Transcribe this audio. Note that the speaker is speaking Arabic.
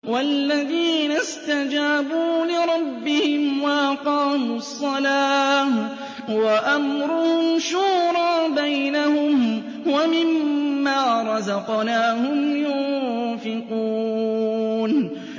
وَالَّذِينَ اسْتَجَابُوا لِرَبِّهِمْ وَأَقَامُوا الصَّلَاةَ وَأَمْرُهُمْ شُورَىٰ بَيْنَهُمْ وَمِمَّا رَزَقْنَاهُمْ يُنفِقُونَ